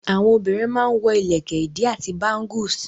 Àwọn obìrin má n wọ ìlẹ̀kẹ̀ ìdí àti bángùs.